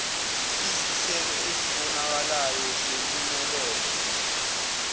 izithelo ezibonakalayo zempumelelo